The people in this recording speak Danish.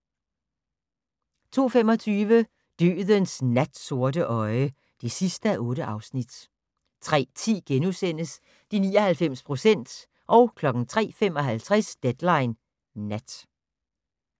02:25: Dødens natsorte øje (8:8) 03:10: De 99 procent * 03:55: Deadline Nat